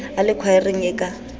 a le khwaereng e ka